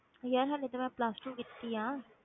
ਯਾਰ ਹਾਲੇ ਤੇ ਮੈਂ plus two ਕੀਤੀ ਹੈ।